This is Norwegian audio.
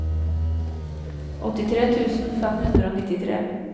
åttitre tusen fem hundre og nittitre